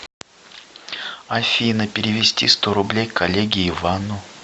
афина перевести сто рублей коллеге ивану